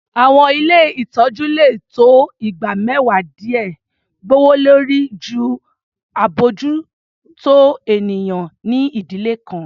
Àwọn ilé ìtọ́jú lè tó igba mẹ́wàá díè gbòwòlórí jù abójútó ènìyàn ní ìdílé kan.